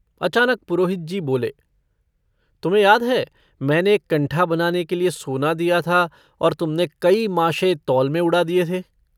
अचनाक पुरोहित जी बोले - तुम्हें याद है, मैंने एक कंठा बनाने के लिए सोना दिया था और तुमने कई माशे तौल में उड़ा दिए थे?